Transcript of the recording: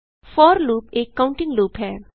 four loop एक counting loop है